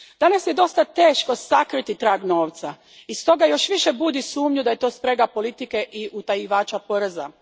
Danas je dosta teško sakriti trag novca i stoga još više budi sumnju da je to sprega politike i utajivača poreza.